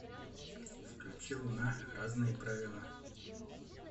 включи луна разные правила